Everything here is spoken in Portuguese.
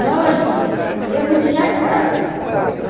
Nós (pigarreando)... Porque não tinha casa, né? Hum